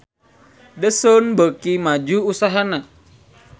The Sun beuki maju usahana